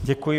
Děkuji.